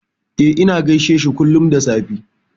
E, ina gaishe shi kullum da safe.